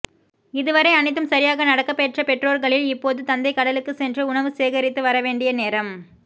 இதுவரை அனைத்தும் சரியாக நடக்கப்பெற்ற பெற்றோர்களில் இப்போது தந்தை கடலுக்குச் சென்று உணவு சேகரித்து வரவேண்டிய நேரம்